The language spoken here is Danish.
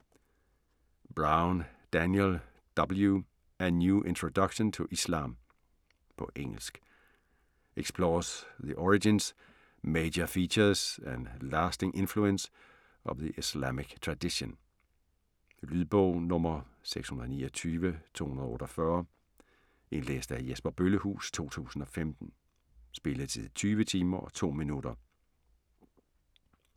Brown, Daniel W.: A new introduction to Islam På engelsk. Explores the origins, major features and lasting influence of the Islamic tradition. Lydbog 629248 Indlæst af Jesper Bøllehuus, 2015. Spilletid: 20 timer, 2 minutter.